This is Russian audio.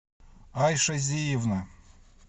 айша зиевна